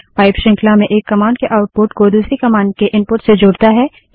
pipe श्रृंखला में एक कमांड के आउटपुट को दूसरी कमांड के इनपुट से जोड़ता है